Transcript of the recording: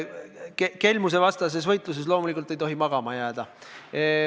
Kelmusevastases võitluses ei tohi loomulikult magama jääda.